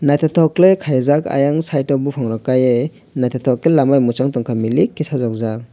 naithotok khlai khaijak ayang side buphangrok kaiui naithotok khe lama bai mwchang tongkha milik khe sajokjak.